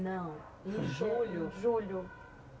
Não, em julho, julho.